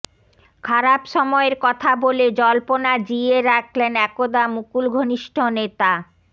খারাপ সময়ের কথা বলে জল্পনা জিইয়ে রাখলেন একদা মুকুল ঘনিষ্ঠ নেতা